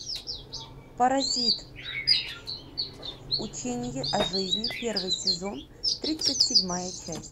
паразит учение о жизни первый сезон тридцать седьмая часть